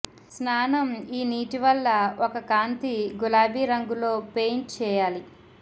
స్నానం ఈ నీటి వల్ల ఒక కాంతి గులాబీ రంగులో పెయింట్ చేయాలి